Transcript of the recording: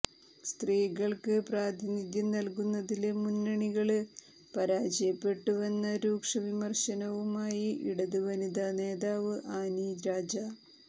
സ്ത്രീകള്ക്ക് പ്രാതിനിധ്യം നല്കുന്നതില് മുന്നണികള് പരാജയപ്പെട്ടുവെന്ന രൂക്ഷ വിമര്ശനവുമായി ഇടത് വനിതാ നേതാവ് ആനി രാജ